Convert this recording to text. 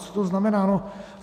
Co to znamená?